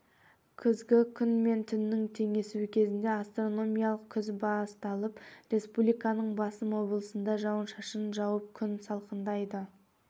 күзгі күн мен түннің теңесуі кезінде астрономиялық күз басталып республиканың басым облысында жауын-шашын жауып күн салқындайды